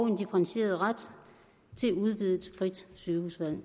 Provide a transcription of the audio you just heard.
en differentieret ret til udvidet frit sygehusvalg